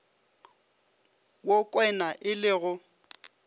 wo kwena e le go